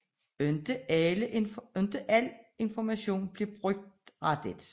Ikke al information blev brugt rigtigt